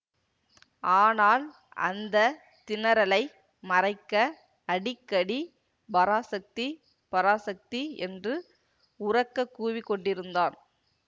ஆனால் அந்த திணறலை மறைக்க அடிக்கடி பராசக்தி பராசக்தி என்று உரக்க கூவிக்கொண்டிருந்தான்